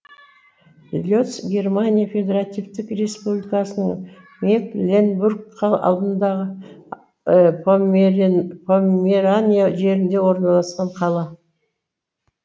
лец германия федеративтік республикасының мекленбург алдыңғы померания жерінде орналасқан қала